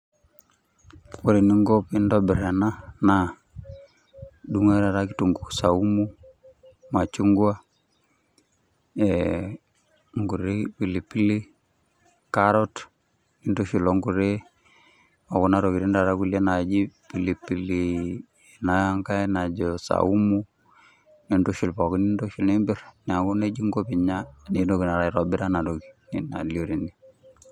Ore eninko pintobir ena, naa idung'u ake taata kitunkuu saumu, machungwa, inkuti pilipili, carrot, nintushul onkuti okuna tokiting taata kulie naaji pilipili enankae najo saumu, nintushul pookin. Nintoki nimpir, neeku nejia inko pinya nintoki taata aitobir enatoki nalio tene.